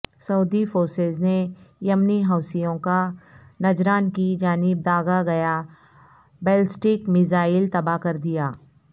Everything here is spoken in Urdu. سعودی فورسز نے یمنی حوثیوں کا نجران کی جانب داغا گیا بیلسٹک میزائل تباہ کردیا